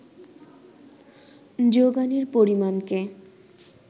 যোগানের পরিমাণকে